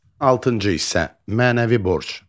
Altıncı hissə: Mənəvi borc.